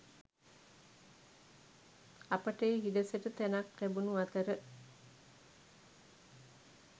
අපට ඒ හිඩැසට තැනක් ලැබුනු අතර